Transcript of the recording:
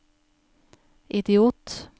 idiot